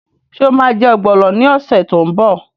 Ṣé o ma jẹ́ ọ̀gbọ̀nọ̀ ní ọ̀sẹ̀ tó ń bọ̀?